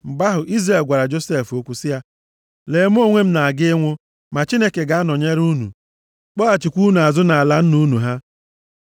Mgbe ahụ, Izrel gwara Josef okwu sị ya, “Lee, mụ onwe m na-aga ịnwụ. Ma Chineke ga-anọnyere unu, kpọghachikwa unu azụ nʼala nna unu ha.